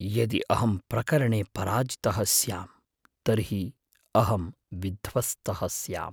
यदि अहं प्रकरणे पराजितः स्यां, तर्हि अहं विध्वस्तः स्याम्।